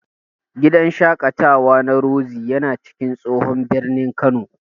Gidan shaƙatawa na Roxy yana cikin tsohon birnin Kano.